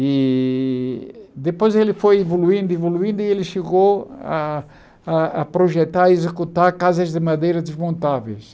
E depois ele foi evoluindo, evoluindo, e ele chegou a a a projetar e executar casas de madeira desmontáveis.